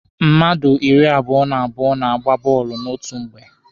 Mmadụ iri abụọ na abụọ na-agba bọọlụ n'otu mgbe.